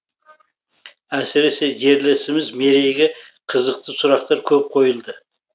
әсіресе жерлесіміз мерейге қызықты сұрақтар көп қойылды